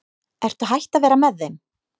Ertu hætt að vera með þeim?